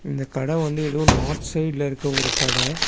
இந்த கட வந்து எதோ ஒரு நார்த் சைடுல இருக்க ஒரு கட.